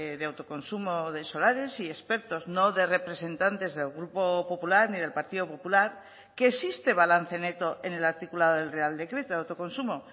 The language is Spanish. de autoconsumo de solares y expertos no de representantes del grupo popular ni del partido popular que existe balance neto en el articulado del real decreto de autoconsumo